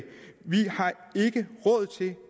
vi